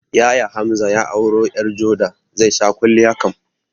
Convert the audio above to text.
Yaya Hamza ya auro ƴar joda, zai sha kwalliya kam